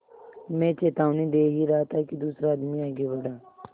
मैं चेतावनी दे ही रहा था कि दूसरा आदमी आगे बढ़ा